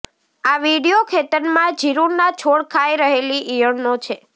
આ વીડિયો ખેતરમાં જીરુંના છોડ ખાઈ રહેલી ઈયળનો છે